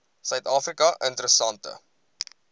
suid afrika interessante